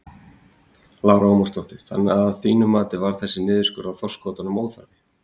Lára Ómarsdóttir: Þannig að þínu mati þá var þessi niðurskurður á þorskkvótanum óþarfi?